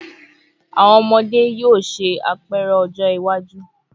Awọn ọmọde yoo ṣe apẹrẹ ọjọ iwaju